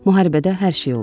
Müharibədə hər şey olur.